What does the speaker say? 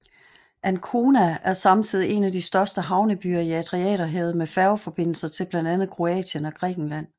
Ancona er samtidig en af de største havnebyer i Adriaterhavet med færgeforbindelser til blandt andet Kroatien og Grækenland